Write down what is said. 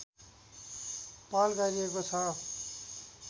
पहल गरिएको छ